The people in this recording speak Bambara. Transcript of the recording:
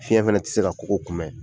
Fiɲɛ fana tɛ se ka kogo kunbɛ.